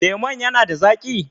Lemon ya na da zaƙi?